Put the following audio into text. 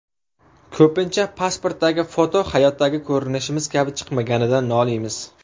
Ko‘pincha pasportdagi foto hayotdagi ko‘rinishimiz kabi chiqmaganidan noliymiz.